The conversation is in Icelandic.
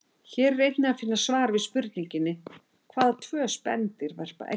Hér er einnig að finna svar við spurningunni: Hvaða tvö spendýr verpa eggjum?